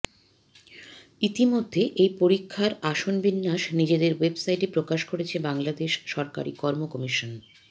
ইতিমধ্যে এই পরীক্ষার আসনবিন্যাস নিজেদের ওয়েবসাইটে প্রকাশ করেছে বাংলাদেশ সরকারি কর্ম কমিশন